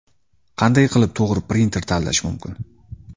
Qanday qilib to‘g‘ri printer tanlash mumkin?.